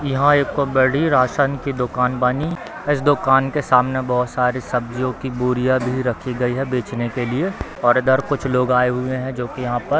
यहाँ एक बड़ी रासन की दुकान बानी | इस दुकान के सामने बहुत सारी सब्जियों की बोरिया भी रखी गई है बेचने के लिए और इधर कुछ लोग आये हुए हैं जो की यहाँ पर --